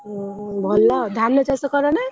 ଉଁ ହୁଁ ଭଲ ଧାନ ଚାଷ କରନା।